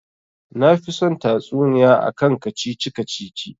Nafi son tatsuniya akan kacici-kacici